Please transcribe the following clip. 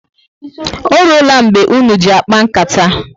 Oruola mgbe ụnụ ji akpa nkata?